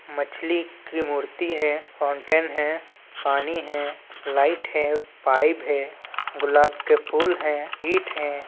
मछली की मूर्ति है फॉउन्टेन है पानी है लाइट है पाइप है गुलाब के फूल हैं ईट है।